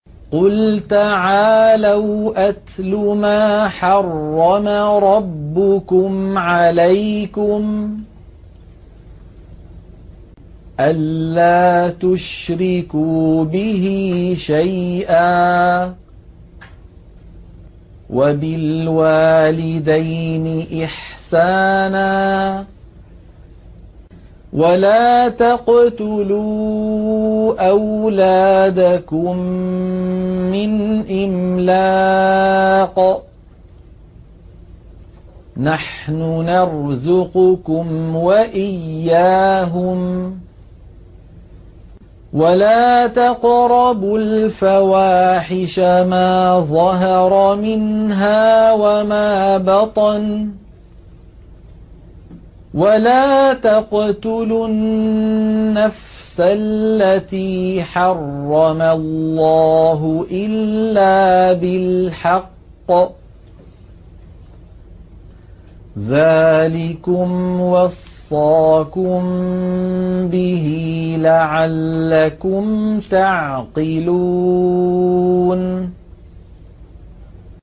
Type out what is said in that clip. ۞ قُلْ تَعَالَوْا أَتْلُ مَا حَرَّمَ رَبُّكُمْ عَلَيْكُمْ ۖ أَلَّا تُشْرِكُوا بِهِ شَيْئًا ۖ وَبِالْوَالِدَيْنِ إِحْسَانًا ۖ وَلَا تَقْتُلُوا أَوْلَادَكُم مِّنْ إِمْلَاقٍ ۖ نَّحْنُ نَرْزُقُكُمْ وَإِيَّاهُمْ ۖ وَلَا تَقْرَبُوا الْفَوَاحِشَ مَا ظَهَرَ مِنْهَا وَمَا بَطَنَ ۖ وَلَا تَقْتُلُوا النَّفْسَ الَّتِي حَرَّمَ اللَّهُ إِلَّا بِالْحَقِّ ۚ ذَٰلِكُمْ وَصَّاكُم بِهِ لَعَلَّكُمْ تَعْقِلُونَ